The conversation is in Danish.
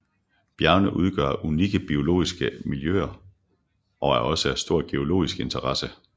Bjergene udgør unikke biologiske miljøer og er også af stor geologisk interesse